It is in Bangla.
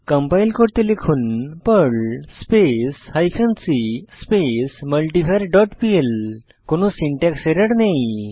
কম্পাইল করতে লিখুন Perl space hyphen c space multivar dot PL কোনো সিনট্যাক্স এরর নেই